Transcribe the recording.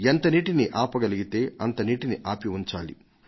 ఎంత నీటిని ఆపగలిగితే అంత నీటిని ఆపి ఉంచాలి